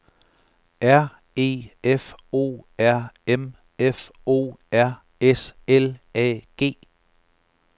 R E F O R M F O R S L A G